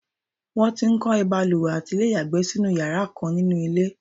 won ti ń kọ́ ìbalùwẹ̀ àti ilé ìyàgbẹ́ sínú iyara kan ninuilé